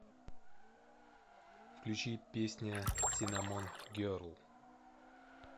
включи песня синнамон герл